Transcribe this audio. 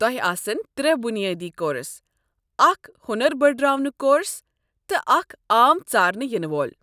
تۄہہ آسن ترٛےٚ بُنِیٲدی کورس، اکھ ہونر بٔڈراونُك کورس، تہٕ اکھ عام ژارنہٕ یِنہٕ وول۔